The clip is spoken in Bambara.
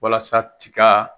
Walasa tikaa